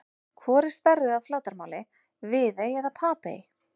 Hvor er stærri að flatarmáli, Viðey eða Papey?